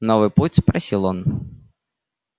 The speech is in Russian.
новый путь просил он